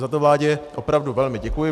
Za to vládě opravdu velmi děkuji.